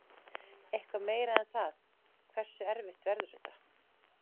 Eitthvað meira en það, hversu erfitt verður þetta?